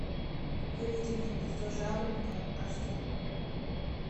выведи мне гнездо жаворонка аш ди